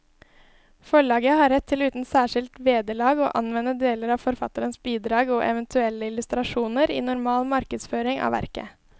Forlaget har rett til uten særskilt vederlag å anvende deler av forfatterens bidrag og eventuelle illustrasjoner i normal markedsføring av verket.